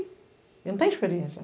E não têm experiência.